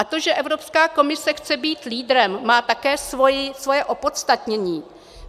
A to, že Evropská komise chce být lídrem, má také svoje opodstatnění.